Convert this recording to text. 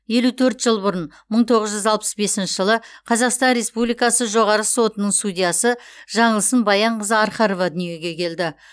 елу төрт жыл бұрын мың тоғыз жүз алпыс бесінші жылықазақстан республикасы жоғарғы сотының судьясы жаңылсын баянқызы архарова дүниеге келді